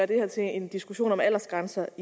det her til en diskussion om aldersgrænser